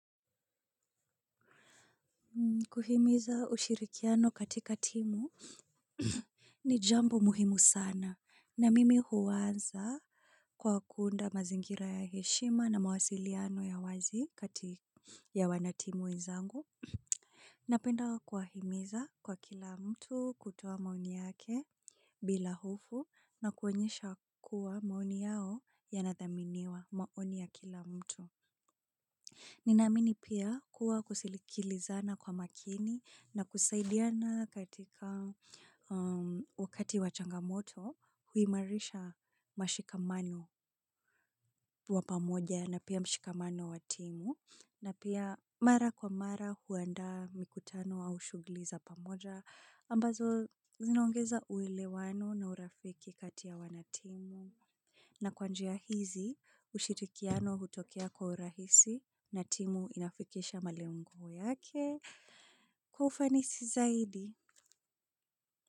Kuhimiza ushirikiano katika timu ni jambo muhimu sana na mimi huanza kwa kuunda mazingira ya heshima na mawasiliano ya wazi kati ya wanatimu wenzangu. Napenda kuwahimiza kwa kila mtu kutoa maoni yake bila hofu na kuonyesha kuwa maoni yao yanathaminiwa maoni ya kila mtu. Ninaamini pia kuwa kusikilizana kwa makini na kusaidiana katika wakati wa changamoto huimarisha mshikamano wa pamoja na pia mshikamano wa timu na pia mara kwa mara huandaa mikutano au shughuli za pamoja ambazo zinaongeza uelewano na urafiki kati ya wanatimu. Na kwa njia hizi, ushirikiano hutokea kwa urahisi na timu inafikisha malengo yake kwa ufanisi zaidi.